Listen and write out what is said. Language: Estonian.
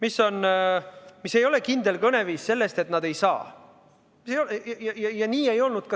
See ei ole kindel kõneviis, nad ei kinnitanud, et nad ei saa seda teha.